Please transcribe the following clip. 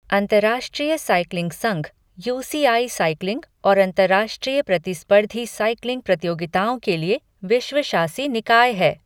अंतर्राष्ट्रीय साइक्लिंग संघ, U C I cycling और अंतर्राष्ट्रीय प्रतिस्पर्धी साइक्लिंग प्रतियोगिताओं के लिए विश्व शासी निकाय है।